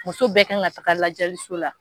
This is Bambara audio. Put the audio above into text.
Muso bɛɛ kan ka taaga lajɛliso la.